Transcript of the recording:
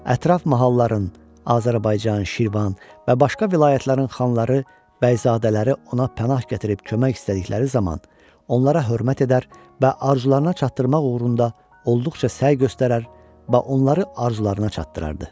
Ətraf mahalların, Azərbaycan, Şirvan və başqa vilayətlərin xanları, bəyzadələri ona pənah gətirib kömək istədikləri zaman, onlara hörmət edər və arzularına çatdırmaq uğrunda olduqca səy göstərər və onları arzularına çatdırardı.